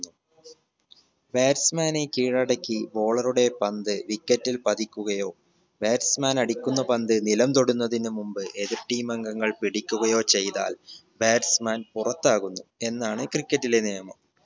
batsman നെ കീഴടക്കി bowler ഉടെ പന്ത് wicket ഇൽ പതിക്കുകയോ batsman അടിക്കുന്ന പന്ത് നിലം തൊടുന്നതിന് മുമ്പ് എതിർ team അംഗങ്ങൾ പിടിക്കുകയോ ചെയ്‌താൽ batsman പുറത്താകുന്നു എന്നാണ് cricket ലെ നിയമം